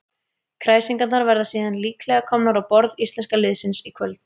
Kræsingarnar verða síðan líklega komnar á borð íslenska liðsins í kvöld.